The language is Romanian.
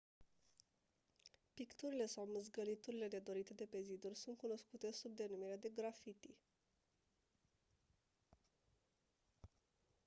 picturile sau mâzgăliturile nedorite de pe ziduri sunt cunoscute sub denumirea de graffiti